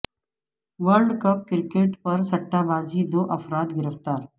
world cup cricket پر سٹہ بازی دو افراد گرفتار